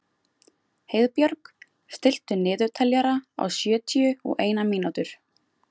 Heiðbjörg, stilltu niðurteljara á sjötíu og eina mínútur.